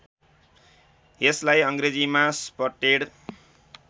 यसलाई अङ्ग्रेजीमा स्पटेड